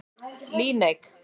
Líneik